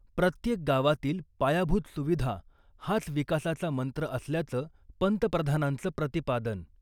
प्रत्येक गावातील पायाभूत सुविधा हाच विकासाचा मंत्र असल्याचं पंतप्रधानांचं प्रतिपादन .